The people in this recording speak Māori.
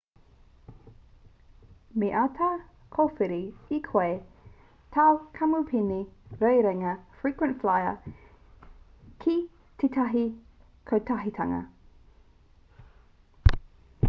me āta kōwhiri e koe tāu kamupene rerenga frequent flyer ki tētahi kotahitanga